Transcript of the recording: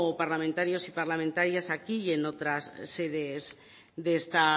parlamentarios y parlamentarias aquí y